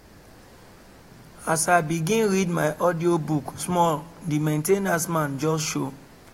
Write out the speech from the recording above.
as i begin read my audiobook small the main ten ance man just show